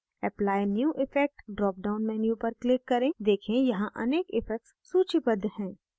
apply new effect drop down menu पर click करें देखें यहाँ अनेक effects सूचीबद्ध हैं